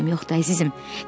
Heç nəyim yoxdur, əzizim.